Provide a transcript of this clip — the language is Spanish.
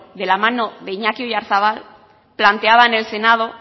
de la mano de iñaki oiarzabal planteaba en el senado